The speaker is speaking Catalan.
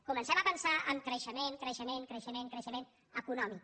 comencem a pensar en creixement creixement creixement creixement econòmic